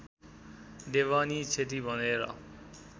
देवानी क्षति भनेर